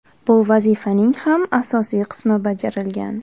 Bu vazifaning ham asosiy qismi bajarilgan.